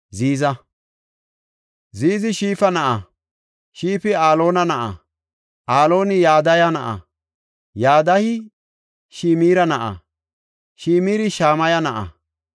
Ziiza. Ziizi Shifa na7a; Shifi Aloona na7a; Alooni Yadaya na7a; Yadayi Shimira na7a; Shimiri Shamaya na7a.